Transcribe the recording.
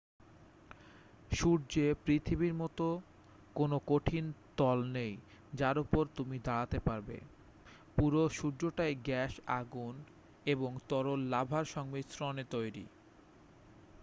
সূর্যে পৃথিবীর মত কোনো কঠিন তল নেই যার উপর তুমি দাঁড়াতে পারবে পুরো সূর্যটাই গ্যাস আগুন এবং তরল লাভার সংমিশ্রণে তৈরী